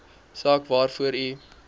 saak waarvoor u